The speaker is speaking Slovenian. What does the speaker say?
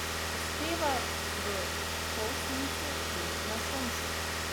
Uspeva v polsenci in na soncu.